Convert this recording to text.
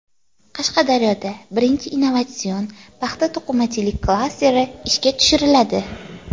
Qashqadaryoda birinchi innovatsion paxta-to‘qimachilik klasteri ishga tushiriladi.